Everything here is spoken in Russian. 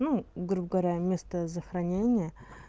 ну грубо говоря место захоронения